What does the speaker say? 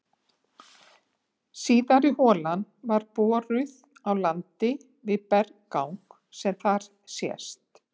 Síðari holan var boruð á landi við berggang sem þar sést.